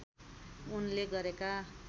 उनले गरेका